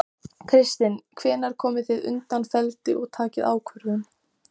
Hann segir ekki frá öllum einkaviðtölunum við kennaraborðið.